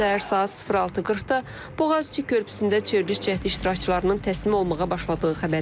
Səhər saat 06:40-da Boğazçı körpüsündə çevriliş cəhdi iştirakçılarının təslim olmağa başladığı xəbəri gəldi.